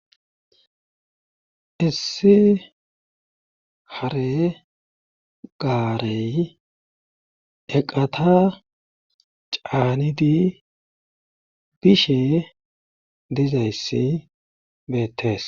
Issi hare gaarey eqata caanidi bishe diizayssi beettees.